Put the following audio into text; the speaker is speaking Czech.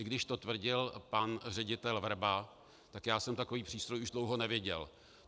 I když to tvrdil pan ředitel Vrba, tak já jsem takový přístroj už dlouho neviděl.